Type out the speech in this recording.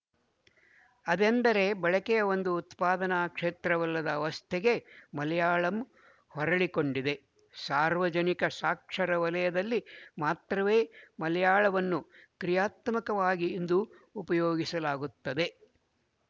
ಅದೆಂದರೆ ಬಳಕೆಯ ಒಂದು ಉತ್ಪಾದನಾ ಕ್ಷೇತ್ರವಲ್ಲದ ಅವಸ್ಥೆಗೆ ಮಲಯಾಳಂ ಹೊರಳಿಕೊಂಡಿದೆ ಸಾರ್ವಜನಿಕ ಸಾಕ್ಷರ ವಲಯದಲ್ಲಿ ಮಾತ್ರವೇ ಮಲಯಾಳವನ್ನು ಕ್ರಿಯಾತ್ಮಕವಾಗಿ ಇಂದು ಉಪಯೋಗಿಸಲಾಗುತ್ತದೆ